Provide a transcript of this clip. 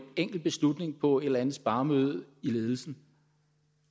enkelt beslutning på et eller andet sparemøde i ledelsen